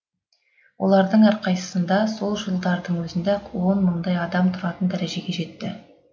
олардың әрқайсысында сол жылдардың өзінде ақ он мыңдай адам тұратын дәрежеге жетті